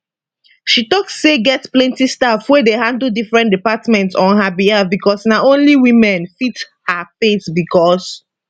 she tok say get plenti staff wey dey handle different departments on her behalf becos na only women fit her face becos